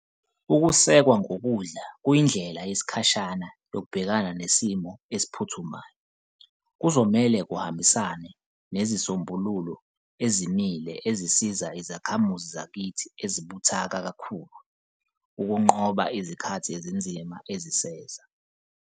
Ukusekwa ngokudla kuyindlela yesikhashana yokubhekana nesimo esiphuthumayo. Kuzomele kuhambisane nezisombululo ezimile ezisiza izakhamuzi zakithi ezibuthaka kakhulu ukunqoba izikhathi ezinzima eziseza.